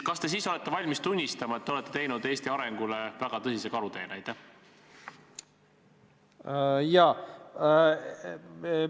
Kas te siis olete valmis tunnistama, et te olete Eesti arengule väga suure karuteene teinud?